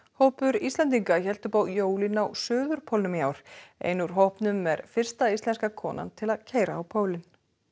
hópur Íslendinga hélt upp á jólin á suðurpólnum í ár ein úr hópnum er fyrsta íslenska konan til að keyra á pólinn